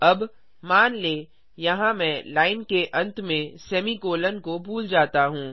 अब मान लें यहाँ मैं लाइन के अंत में सेमीकोलों को भूल जाता हूँ